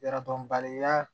Yadɔn bari ya